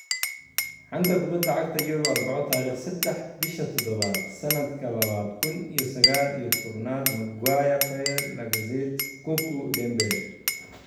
Xanta Kubada Cagta Yurub Arbaco tariq sedax bisha tadabaad sanadka labada kun iyo sagal iyo tobnaad Maguire, Bale, Lacazette, Cocu, Dembele